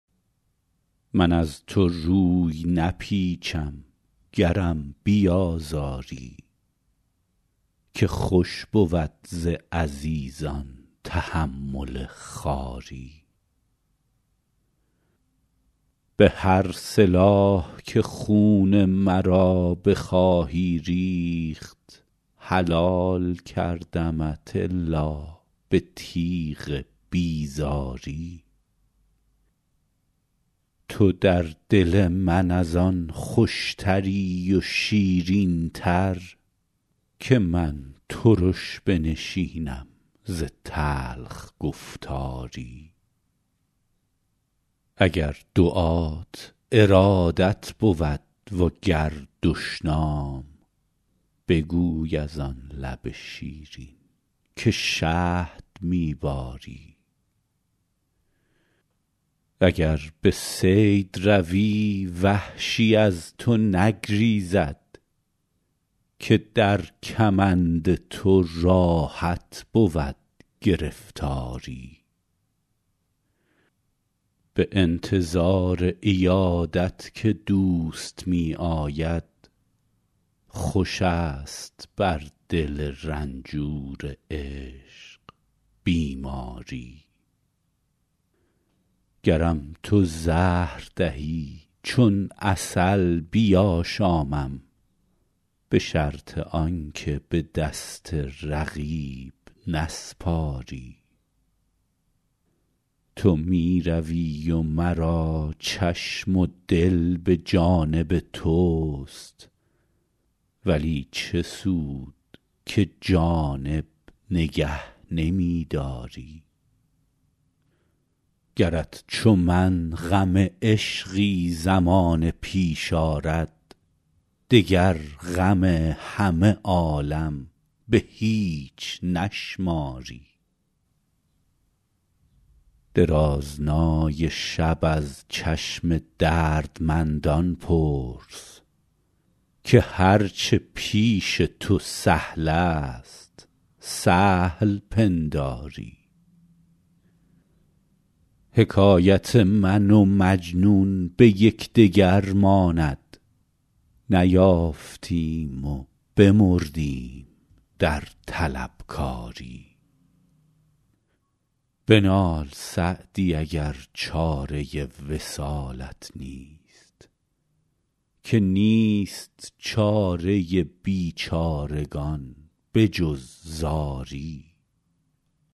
من از تو روی نپیچم گرم بیازاری که خوش بود ز عزیزان تحمل خواری به هر سلاح که خون مرا بخواهی ریخت حلال کردمت الا به تیغ بیزاری تو در دل من از آن خوشتری و شیرین تر که من ترش بنشینم ز تلخ گفتاری اگر دعات ارادت بود و گر دشنام بگوی از آن لب شیرین که شهد می باری اگر به صید روی وحشی از تو نگریزد که در کمند تو راحت بود گرفتاری به انتظار عیادت که دوست می آید خوش است بر دل رنجور عشق بیماری گرم تو زهر دهی چون عسل بیاشامم به شرط آن که به دست رقیب نسپاری تو می روی و مرا چشم و دل به جانب توست ولی چه سود که جانب نگه نمی داری گرت چو من غم عشقی زمانه پیش آرد دگر غم همه عالم به هیچ نشماری درازنای شب از چشم دردمندان پرس که هر چه پیش تو سهل است سهل پنداری حکایت من و مجنون به یکدگر ماند نیافتیم و بمردیم در طلبکاری بنال سعدی اگر چاره وصالت نیست که نیست چاره بیچارگان به جز زاری